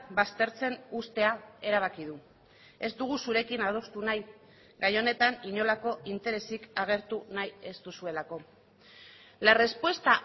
baztertzen uztea erabaki du ez dugu zurekin adostu nahi gai honetan inolako interesik agertu nahi ez duzuelako la respuesta